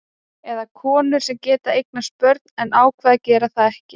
Eða konur sem geta eignast börn en ákveða að gera það ekki.